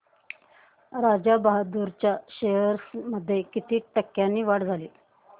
राजा बहादूर च्या शेअर्स मध्ये किती टक्क्यांची वाढ झाली